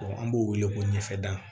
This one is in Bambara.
an b'o wele ko ɲɛfɛ dan